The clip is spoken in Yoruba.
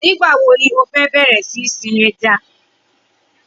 Nigbá wó ló fè bẹrẹ si ni sin èjá?